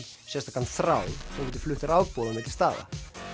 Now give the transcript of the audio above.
sérstakan þráð sem getur flutt rafboð á milli staða